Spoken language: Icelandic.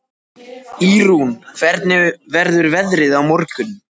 Ýrún, hvernig verður veðrið á morgun?